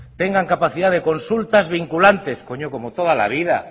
tengan capacidad de consultas vinculantes coño como toda la vida